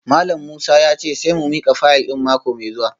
Malam Musa ya ce sai mu mika fayil din mako mai zuwa